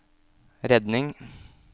redning